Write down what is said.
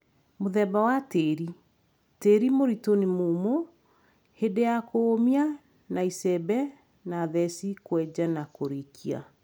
Mũthemba wa tĩri, tĩri mũritũ nĩ mũmũ hĩndĩ ya kũũmia na icembe na theci kwenja na kũrikia